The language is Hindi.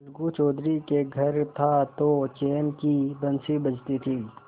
अलगू चौधरी के घर था तो चैन की बंशी बजती थी